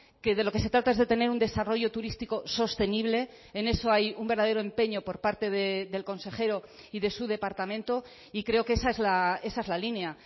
que de lo que se trata es de tener un desarrollo turístico sostenible en eso hay un verdadero empeño por parte del consejero y de su departamento y creo que esa es la línea